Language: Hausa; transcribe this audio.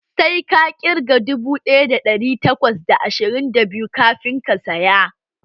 Sai ka ƙirga dubu ɗaya da ɗari takwas da ashirin da biyu kafin ka tsaya!